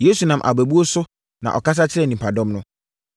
Yesu nam abɛbuo so na ɔkasa kyerɛɛ nnipadɔm no.